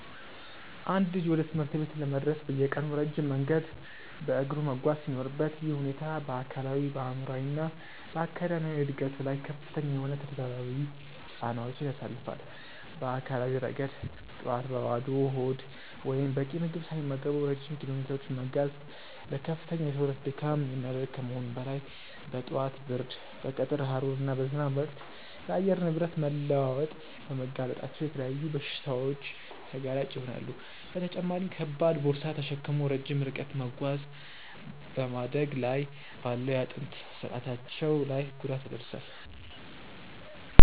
አንድ ልጅ ወደ ትምህርት ቤት ለመድረስ በየቀኑ ረጅም መንገድ በእግሩ መጓዝ ሲኖርበት፣ ይህ ሁኔታ በአካላዊ፣ በአእምሯዊ እና በአካዳሚያዊ ዕድገቱ ላይ ከፍተኛ የሆኑ ተደራራቢ ጫናዎችን ያሳርፋል። በአካላዊ ረገድ፣ ጠዋት በባዶ ሆድ ወይም በቂ ምግብ ሳይመገቡ ረጅም ኪሎሜትሮችን መጓዝ ለከፍተኛ የሰውነት ድካም የሚዳርግ ከመሆኑም በላይ፣ በጠዋት ብርድ፣ በቀትር ሐሩር ወይም በዝናብ ወቅት ለአየር ንብረት መለዋወጥ በመጋለጣቸው ለተለያዩ በሽታዎች ተጋላጭ ይሆናሉ፤ በተጨማሪም ከባድ ቦርሳ ተሸክሞ ረጅም ርቀት መጓዝ በማደግ ላይ ባለው የአጥንት ስርአታቸው ላይ ጉዳት ያደርሳል።